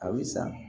A bɛ san